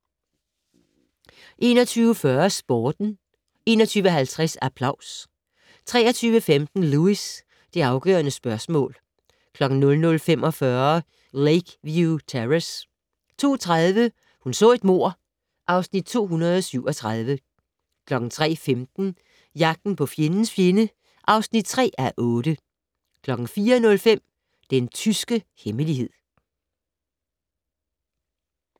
21:40: Sporten 21:50: Applaus 23:15: Lewis: Det afgørende spørgsmål 00:45: Lakeview Terrace 02:30: Hun så et mord (Afs. 237) 03:15: Jagten på fjendens fjende (3:8) 04:05: Den tyske hemmelighed